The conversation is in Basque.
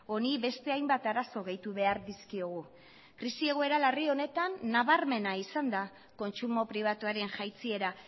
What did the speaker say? honi beste hainbat arazo gehitu behar dizkiogu krisi egoera larri honetan nabarmena izan da kontsumo pribatuaren jaitsiera